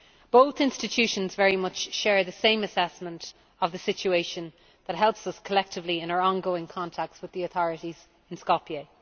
Both institutions very much share the same assessment of the situation, and that helps us collectively in our ongoing contacts with the authorities in Skopje.